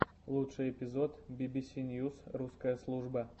лучший эпизод бибиси ньюс русская служба